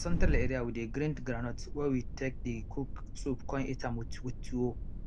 for central area we dey grind groundnut wey we take dey cook soup con eat am with with tuwo